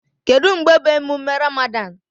Kedu mgbe bụ emume Ramadan?